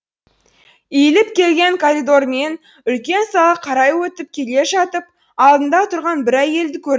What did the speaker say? иіліп келген коридормен үлкен қарай өтіп келе жатып алдында тұрған бір әйелді